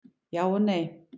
Já og nei.